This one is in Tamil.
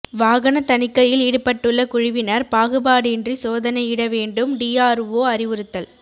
வாகன தணிக்கையில் ஈடுபட்டுள்ள குழுவினர் பாகுபாடின்றி சோதனையிட வேண்டும் டிஆர்ஓ அறிவுறுத்தல்